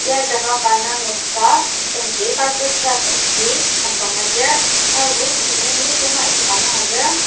ya jaka ka indang noksa yangji carpet grass agi hembanga lir herbo süngdonglidong a ishika maha lir.